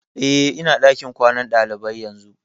Eh, ina ɗakin kwanan ɗalibai yanzu